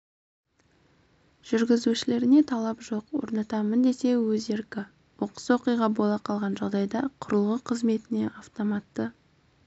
жүргізушілеріне талап жоқ орнатамын десе өз еркі оқыс оқиға бола қалған жағдайда құрылғы қызметіне автоматты